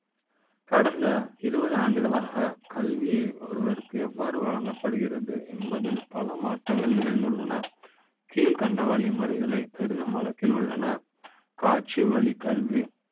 கடந்த இருபது ஆண்டுகளாக கல்வி ஒருவரு க்கு எவ்வாறு வழங்க ப்படுகிறது என்பது ல் பல மாற்ற ங்கள் நிகழ்ந்துள்ளன கீழ்கண்ட வழிமுறைகளை பெரிது ம் வழக்கில் உள்ளன காட்சி வழி க் கல்வ